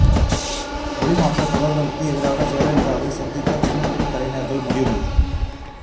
மொழி மாற்றத் தொடர்களுக்கு எதிராக ஜெயலலிதாவை சந்திக்க சின்னத்திரை கலைஞர்கள் முடிவு